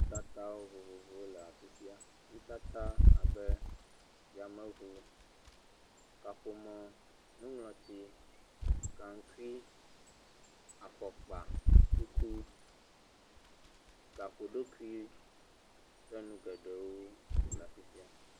Nutata vovovowo le afi sia. Nutata abe yameŋu, kaƒomɔ, nuŋlɔti, gaŋkui, afɔkpa, kuku, gaƒoɖokui kple nu geɖewo.